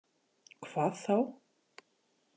Hvað þá?